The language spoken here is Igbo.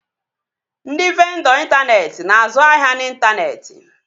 Ndị vendọ intaneeti na-azụ ahịa n'intaneeti